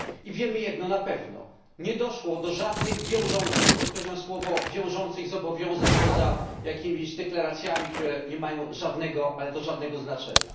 Wiemy jedno na pewno nie doszło do żadnych wiążących podkreślam to słowo zobowiązań poza jakimiś deklaracjami, które nie mają żadnego, ale to żadnego znaczenia.